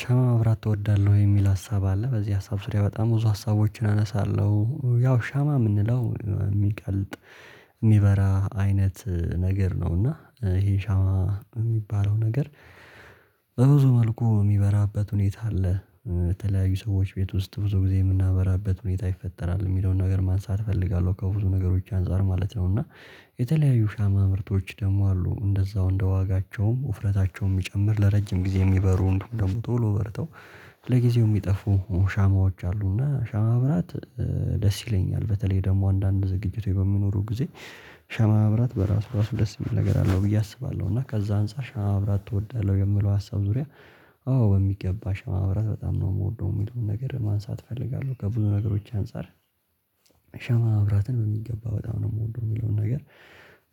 ሻማ ማብራት ትወዳለሁ የሚል ሀሳብ አለ በዚህ ሀሳብ ዙሪያ በጣም ብዙ ሀሳቦችን አነሳለሁ ያው ሻማ የምንለው የሚቀልጥ የሚበራ አይነት ነገር ነው እና ይሄ ሻማ የሚባለው ነገር። በብዙ መልኩ የሚበራበት ሁኔታ አለ። በተለያዩ ሰዎች ቤት ውስጥ ብዙ ጊዜ የምናበራበት ሁኔታ ይፈጠራል የሚለውን ነገር ማንሳት እፈልጋለሁ ከብዙ ነገሮች አንፃር ማለት ነው እና። የተለያዩ ሻማ ምርቶች ደግሞ አሉ እንደዛው እንደ ዋጋቸውም ውፍረታቸውም የሚጨምር ለረጅም ጊዜ የሚበሩ እንዲሁም ደግሞ ቶሎ በርተው ለጊዜው የሚጠፉ ሻማዎች አሉ። እና ሻማ ማብራት ደስ ይለኛል በተለይ ደግሞ አንዳንድ ዝግጅቶች በሚኖሩ ጊዜ ሻማ ማብራት በራሱ ራሱ ደስ የሚል ነገር አለው ብዬ አስባለሁ። እና ከዛ አንፃር ሻማ ማብራት እወዳለሁ የምለው ሀሳብ ዙሪያ። አዎ በሚገባ ሻማ ማብራት በጣም ነው የምወደው የሚለውን ነገር ማንሳት እፈልጋለሁ ከብዙ ነገሮች አንፃር። ሻማ መብራትን በሚገባ በጣም ነው የምወደው የሚለውን ነገር።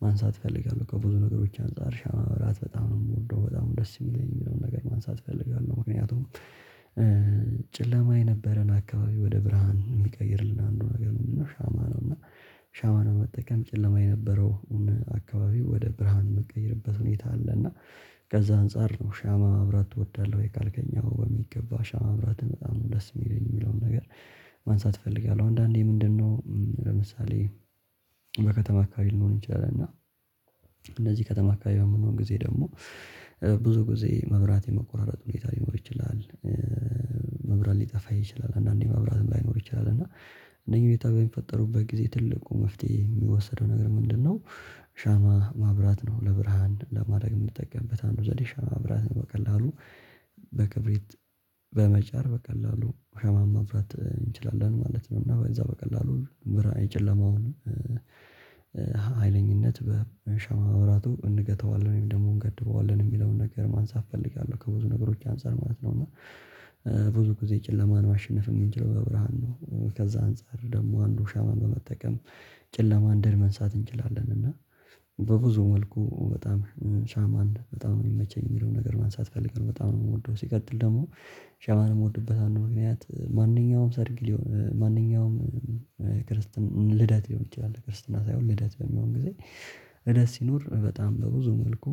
ማንሳት እፈልጋለሁ ከብዙ ነገሮች አንፃር ሻማ ማብራት በጣም ነው የምወደው በጣም ደስ የሚለኝ የሚለውን ነገር ማንሳት እፈልጋለሁ ምክንያቱም። ጭለማ የነበረን አካባቢ ወደ ብርሃን የሚቀይርልን አንዱ ነገር ምንድነው? ሻማ ነው እና ሻማ በመጠቀም ጨለማ የነበረውን አካባቢ ወደ ብርሃን የምትቀይርበት ሁኔታ አለ። እና ከዛ አንፃር ነው ሻማ ማብራት ትወዳለህ ወይ? ካልከኛው በሚገባ ሻማ ማብራት በጣም ደስ የሚለኝ የሚለውን ነገር ማንሳት እፈልጋለሁ። አንዳንዴ ምንድነው ለምሳሌ። በከተማ አካባቢ ልንሆን እንችላል እና። እንደዚህ ከተማ አካባቢ በምንሆን ጊዜ ደግሞ ብዙ ጊዜ መብራት የመቆራረጥ ሁኔታ ሊኖር ይችላል። መብራት ሊጠፋ ይችላል አንድአንዴ መብራትም ላይኖር ይችላል እና። እነኚህ ሁኔታ በሚፈጠሩበት ጊዜ ትልቁ መፍትሄ የሚወሰደው ነገር ምንድነው? ሻማ ማብራት ነው። ለብርሃን ለማድረግ የምንጠቀምበት አንዱ ዘዴ ሻማ ማብራት በቀላሉ በክብሪት በመጫር በቀላሉ ሻማን ማብራት እንችላለን ማለት ነው። እዛ በቀላሉ ብር የጨለማውን ኃይለኝነት በሻማ መብራቱ እንገተዋለን ወይም ደግሞ እንገድበዋለን የሚለውን ነገር ማንሳት እፈልጋለሁ ከብዙ ነገሮች አንፃር ማለት ነው። እና ብዙ ጊዜ ጨለማን ማሸነፍ የምንችለው በብርሃን ነው። ከዛ አንፃር ደግሞ አንዱ ሻማ በመጠቀም ጨለማን ድል መንሳት እንችላለን። እና በብዙ መልኩ በጣም ሻማን በጣም የሚመቸኝ የሚለውን ነገር ማንሳት ፈልገን በጣም ነው የምወደው። ሲቀጥል ደግሞ ሻማን የምወድበት አንድ ምክንያት ማንኛውም ሰርግ ማንኛውም ክርስትናን ልደት ሊሆን ይችላል። ክርስትና ሳይሆን ልደት በሚሆን ጊዜ ደስ ይኖር በጣም በብዙ መልኩ።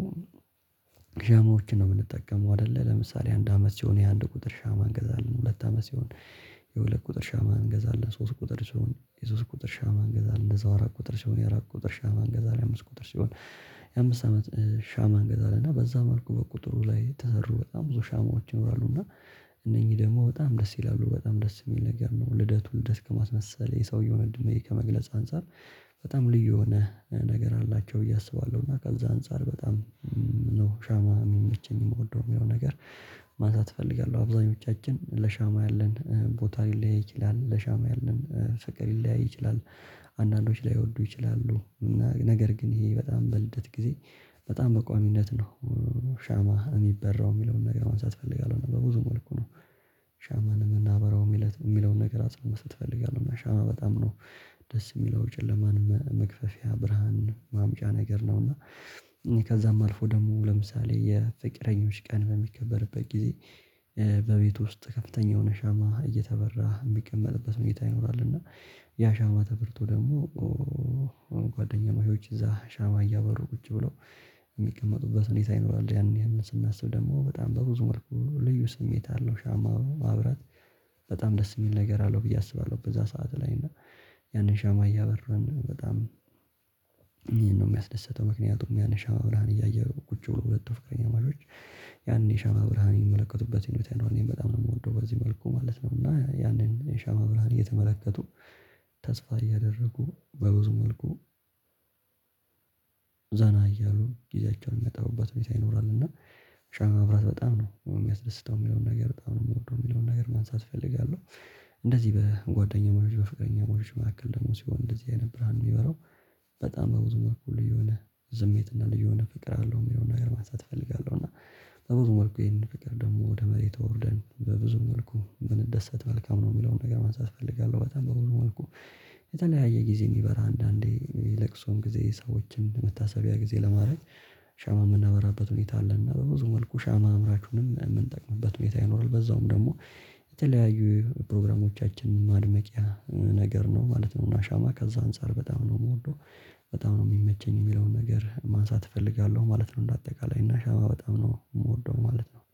ዠማዎችን የምንጠቀመው አይደለ ለምሳሌ አንድ አመት ሲሆን የአንድ ቁጥር ሻማ እንገዛለን ሁለት አመት ሲሆን። የሁለት ቁጥር ሻማ እንገዛለን ሶስት ቁጥር ሲሆን የሶስት ቁጥር ሻማ እንገዛለን እንደዛው አራት ቁጥር ሲሆን የአራት ቁጥር ሻማ እንገዛለን አምስት ቁጥር ሲሆን የአምስት አመት ሻማ እንገዛለን እና በዛ መልኩ በቁጥሩ ላይ ተህሩ በጣም ብዙ ሻማዎች ይኖራሉ። እና ሻማዎችን ነው ምንጠቀመው አይደል አንድ አመት ሲሆን የአንድ ቁጥር ሁለት አመት ሲሆን ሁለት ቁጥር ማንኛውም ክርስትናን ልደት ሊሆን ይችላል ክርስትና ሳይሆን ልደት በሚሆን ጊዜ ደስ ይኖር። በጣም በብዙ መልኩ ዠማዎችን የምንጠቀመው አይደለ ለምሳሌ አንድ አመት ሲሆን የአንድ ቁጥር ሻማ እንገዛለን ሁለት አመት ሲሆን የሁለት ቁጥር ሻማ እንገዛለን ሶስት ቁጥር ሲሆን የሶስት ቁጥር ሻማ እንገዛለን እንደዛው አራት ቁጥር ሲሆን የአራት ቁጥር ሻማ እንገዛለን አምስት ቁጥር ሲሆን የአምስት አመት ሻማ እንገዛለን እና በዛ መልኩ በቁጥሩ ላይ ተህሩ በጣም ብዙ ሻማዎች ይኖራሉ እና እነኚህ ደግሞ በጣም ደስ ይላሉ በጣም ደስ የሚል ነገር ነው። ልደቱን ልደት ከማስመሰል የሰውየውን እድሜ ከመግለጽ አንፃር በጣም ልዩ የሆነ ነገር አላቸው ብዬ አስባለሁ። እና ከዛ አንፃር በጣም ሻማ የሚበራው የሚለውን ነገር ማንሳት እፈልጋለሁ በብዙ መልኩ ነው። ሻማን የምናበራው የሚለውን ነገር አጽንቶ መስጠት ትፈልጋለህ? እና ሻማ በጣም ነው ደስ የሚለው ጨለማን መክፈፊያ ብርሃን ማምጫን ነገር ነው። እና እኔ ከዛም አልፎ ደግሞ ለምሳሌ የፍቅረኞች ቀን በሚከበርበት ጊዜ ሻማ የሚበራው የሚለውን ነገር ማንሳት እፈልጋለሁ። በብዙ መልኩ ነው ሻማን የምናበራው የሚለውን ነገር አጽንቶ መስጠት ትፈልጋለህ? እና ሻማ በጣም ነው ደስ የሚለው ጨለማን መክፈፊያ ብርሃን ማምጫን ነገር ነው። እና እኔ ከዛም አልፎ ደግሞ ለምሳሌ የፍቅረኞች ቀን በሚከበርበት ጊዜ ጓደኛ ማሽቶች እዛ ሻማ እያበሩ ቁጭ ብለው የሚቀመጡበት ሁኔታ ይኖራል። ያንን ያንን ስናስብ ደግሞ በጣም በብዙ መልኩ ልዩ ስሜት አለው ሻማው አብራት ነው ሻማ ምንም ልቼን የምወደው። የሚለው ነገር ማንሳት እፈልጋለሁ። አብዛኞቻችን ለሻማ ያለን ቦታ ሊለይ ይችላል ለሻማ ያለን ፈቀድ ሊለያይ ይችላል። ያንን ሻማ እያበረን በጣም ይሄን ነው የሚያስደስተው ምክንያቱም ያነሻው ብርሃን እያየሁ ቁጭ ብሎ ሁለት ፍቅረኛ ነዋሾች። ያንን ሻማ ብርሃን የሚመለከቱበት በጣም ነው የምወደው በዚህ መልኩ ማለት ነው። እና ያንን የሻማ ብርሃን እየተመለከቱ ያንን ሻማ እያበራን። አንዳንዶች ላይወዱ ይችላሉ። እና ነገር ግን ይሄ በጣም በልደት ጊዜ በጣም በቋሚነት ነው ሻማ የሚበራው የሚለውን ነገር ማንሳት እፈልጋለሁ። በብዙ መልኩ ነው ሻማን የምናበራው የሚለውን ነገር አጽንቶ መስጠት ትፈልጋለህ? እና ሻማ በጣም ነው ደስ የሚለው ጨለማን መክፈፊያ ብርሃን ማምጫን ነገር ነው። እና እኔ ከዛም አልፎ ደግሞ ለምሳሌ የፍቅረኞች ቀን በሚከበርበት ጊዜ እንደዚህ በጉአደኛ እና በፍቅረኛ መካከል ሲሆን እንደዚህ አይነት ነገር በቤት ውስጥ። ከፍተኛ የሆነ ሻማ እየተበራ የሚቀመጥበት መኝታ ይኖራል። እና ያ ሻማ ተብርቶ ደግሞ በቤት ውስጥ ከፍተኛ የሆነ ሻማ እየተበራ የሚቀመጥበት መኝታ ይኖራል። እና ያ ሻማ ተብርቶ ደግሞ ጓደኛ ማሽቶች እዛ ሻማ እያበሩ ቁጭ ብለው የሚቀመጡበት ሁኔታ ይኖራል። ያንን ያንን ስናስብ ደግሞ በጣም በብዙ መልኩ ልዩ ስሜት አለው። ሻማው አብራት